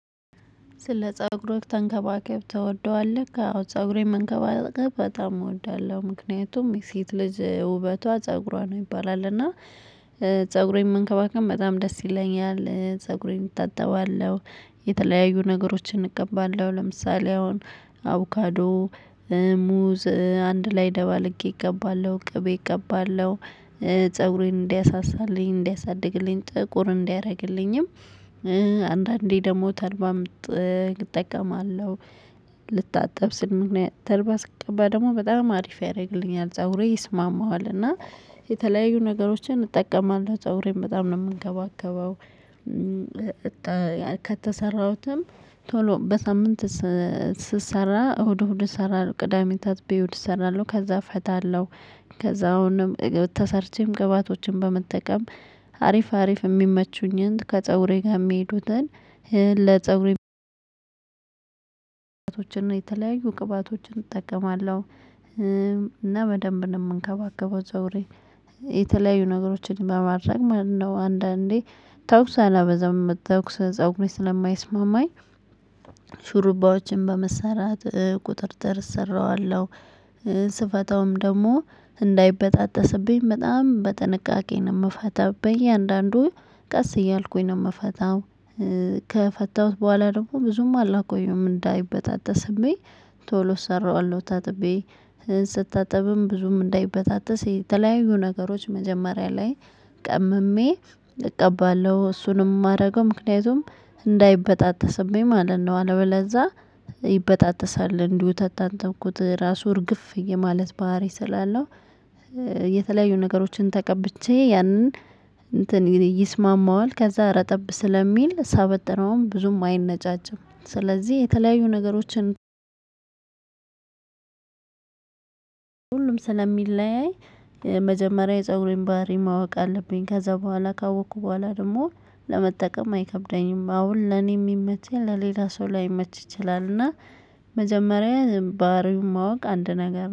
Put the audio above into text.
ስለ ፀጉር ተንከባከብ ትወደዋለህ? አው ፀጉሬን መንከባከብ በጣም እወዳለሁ። ምክንያቱም የሴት ልጅ ውበቷ ፀጉሯ ነው ይባላል እና ፀጉሬን መንከባከብ በጣም ደስ ይለኛል። ፀጉሬን እታጠባለሁ። የተለያዩ ነገሮችን እቀባለሁ ለምሳሌ አሁን አቮካዶ ሙዝ አንድ ላይ ደባለቄ እቀባለሁ ቅቤ እቀባለሁ ፀጉሬን እንዲያሳሳልኝ እንዲያሳድግልኝ ጥቁርም እንዲያደርግልኝም። አንዳንዴ ደግሞ ተልባም እጠቀማለሁ። ልታጠብ ስል ምክንያት ተልባ ስቀባ ደግሞ በጣም አሪፍ ያደርግልኛል ፀጉሬ ይስማማዋል። እና የተለያዩ ነገሮችን እጠቀማለሁ ፀጉሬም በጣም ነው የምንከባከበው። ከተሰራሁትም ቶሎ በሳምንት ስሰራ እሁድ እሁድ እሰራለው ቅዳሜ ታጥቤ እሁድ እሰራለሁ ከዛ እፈታለሁ። ከዛ አሁንም ተሰርቼም ቅባቶችን በመጠቀም አሪፍ አሪፍ የሚመቹኝን ከፀጉሬ ጋር የሚሄዱትን ለፀጉሬ ቅባቶችን የተለያዩ ቅባቶችን እጠቀማለሁ። እና በደንብ ነው የምንከባከበው ፀጉሬን የተለያዩ ነገሮችን በማድረግ ማለት ነው። አንዳንዴ ተኩስ አላበዛም ተኩስ ፀጉሬን ስለማይስማማኝ። ሹሩባዎችን በመሰራት ቁጥጥር እሰራዋለሁ። ስፈታውም ደግሞ እንዳይበጣጠስብኝ በጣም በጥንቃቄ ነው የምፈታው በየአንዳንዱ ቀስ እያልኩኝ ነው የምፈታው። ከፈታሁት በኋላ ደግሞ ብዙም አላቆየም እንዳይበጣጠስብኝ ቶሎ እሰራዋለሁ። ታጥቤ ስታጥብም ብዙም እንዳይበጣጠስ የተለያዩ ነገሮች መጀመሪያ ላይ ቀምሜ እቀባለሁ እሱንም የማደርገው ምክንያቱም እንዳይበጣጠስብኝ ማለት ነው። አለበለዛ ይበጣጠሳል። እንዲሁ ከታጠብኩት ራሱ እርግፍ የማለት ባህሪ ስላለው የተለያዩ ነገሮችን ተቀብቼ ያንን እንትን ይስማማዋል ከዛ ረጠብ ስለሚል ሳበጥረውም ብዙም አይነጫጭም። ስለዚህ የተለያዩ ነገሮችን ሁሉም ስለሚለያይ መጀመሪያ የፀጉሬን ባህሪ ማወቅ አለብኝ። ከዛ በኋላ ካወቅኩ በኋላ ደግሞ ለመጠቀም አይከብደኝም። አሁን ለኔ የሚመቸኝ ለሌላ ሰው ላይመች ይችላል። እና መጀመሪያ ባህሪው ማወቅ አንድ ነገር